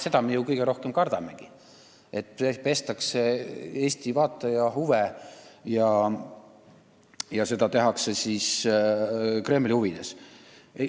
Seda me kõige rohkem kardamegi, et seal pestakse Eesti vaatajate ajusid ja tehakse seda Kremli huvides.